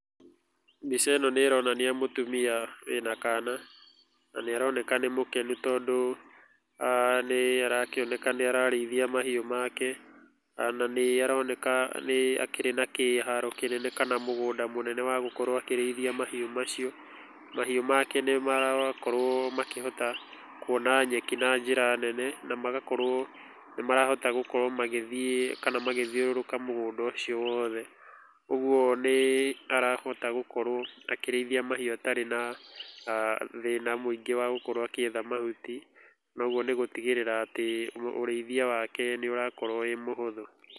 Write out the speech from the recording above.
Mbica ĩno nĩ ĩronania mũtumia wĩna kana, na nĩ aroneka nĩ mũkenu, tondũ nĩ arakĩoneka nĩ ararĩithia mahiũ make. Na nĩ aroneka nĩ akĩrĩ na kĩharo kĩnene kana mũgũnda mũnene wa gũkorwo akĩrĩithia mahiũ macio. Mahiũ make nĩ marakorwo makĩhota kuona nyeki na njĩra nene, na magakorwo nĩ marahota gũkorwo magĩthiĩ kana magĩthiũrũrũka mũgũnda ũcio wothe. Ũguo nĩ arahota gũkorwo akĩrĩithia mahiũ atarĩ na thĩna mũingĩ wa gũkorwo agĩetha mahuti. Na ũguo nĩ gũtigĩrĩra atĩ ũrĩithia wake nĩ ũrakorwo wĩ mũhũthũ.